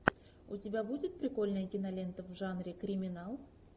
у тебя будет прикольная кинолента в жанре криминал